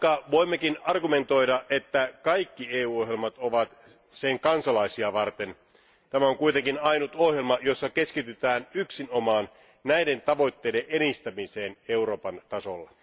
Voimme toki argumentoida, että kaikki EU ohjelmat ovat sen kansalaisia varten, mutta tämä on kuitenkin ainut ohjelma, jossa keskitytään yksinomaan näiden tavoitteiden edistämiseen Euroopan tasolla.